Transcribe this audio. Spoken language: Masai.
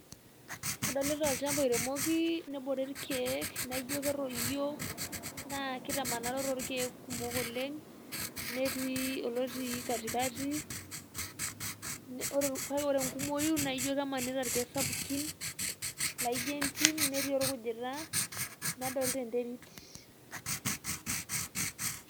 Kadolita olnchampa oiremoki nebore irkiek, naijio ketoyio naa keitamanaro tolkeek kumok oleng' netii olotii katikatii. Kake ore engumoii naijio kemanita irkiek sapukin laijio entimnetii orkujita nadolita enterit.